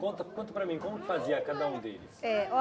Conta contra para mim, como fazia cada um deles?